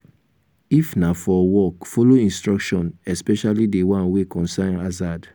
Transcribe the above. if na for work follow instruction especially di one wey concern harzard